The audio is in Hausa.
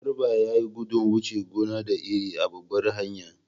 Garba ya yi gudun wuce gona da iri a babbar hanya.